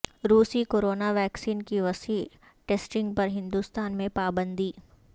روسی corona vaccine کی وسیع ٹسٹنگ پر ہندوستان میں پابندی